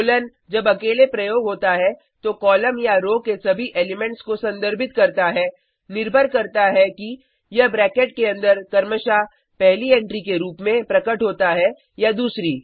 colon जब अकेले प्रयोग होता है तो कॉलम या रो के सभी एलिमेंट्स को संदर्भित करता है निर्भर करता है कि यह ब्रैकेट के अंदर क्रमशः पहली एंट्री के रूप में प्रकट होता है या दूसरी